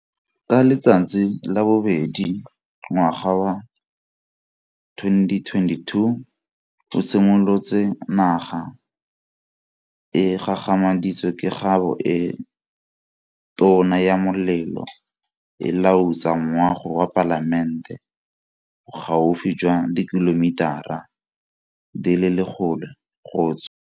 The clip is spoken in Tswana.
Ka letsatsi la bobedi ngwaga wa 2022 o simolotse naga e gagamaditswe ke kgabo e tona ya molelo e lautsa moago wa Palamente, bogaufi jwa dikilomitara di le 100 go tswa.